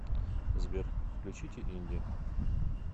сбер включите инди